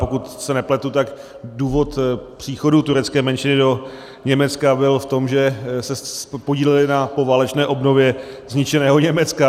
Pokud se nepletu, tak důvod příchodu turecké menšiny do Německa byl v tom, že se podíleli na poválečné obnově zničeného Německa.